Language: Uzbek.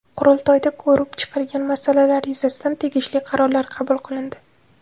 Qurultoyda ko‘rib chiqilgan masalalar yuzasidan tegishli qarorlar qabul qilindi.